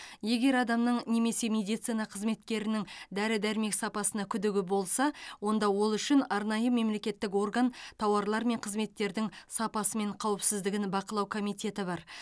егер адамның немесе медицина қызметкерінің дәрі дәрмек сапасына күдігі болса онда ол үшін арнайы мемлекеттік орган тауарлар мен қызметтердің сапасы мен қауіпсіздігін бақылау комитеті бар